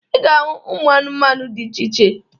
Ị ga-ahụ ụmụ anụmanụ dị iche iche.